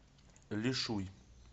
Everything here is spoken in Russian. лишуй